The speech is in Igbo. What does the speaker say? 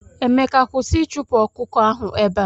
Emeka kwụsị ichupu ọkụkọ ahụ ebea!!!!.